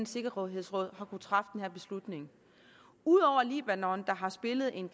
sikkerhedsråd har kunnet træffe den her beslutning ud over at libanon har spillet en